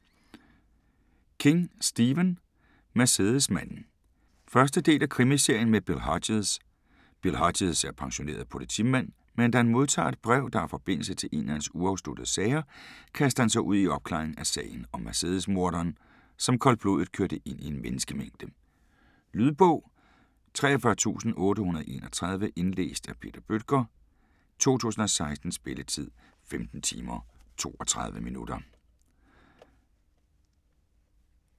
King, Stephen: Mercedesmanden 1. del af Krimiserien med Bill Hodges. Bill Hodges er pensioneret politimand, men da han modtager et brev, der har forbindelse til en af hans uafsluttede sager, kaster han sig ud i opklaringen af sagen om Mercedesmorderen, som koldblodigt kørte ind i en menneskemængde. Lydbog 43831 Indlæst af Peter Bøttger, 2016. Spilletid: 15 timer, 32 minutter.